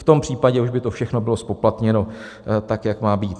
V tom případě už by to všechno bylo zpoplatněno tak, jak má být.